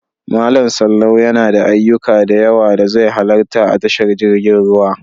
Malam Sallau yana da ayyuka da yawa da zai halarta a tashar jirgin ruwa.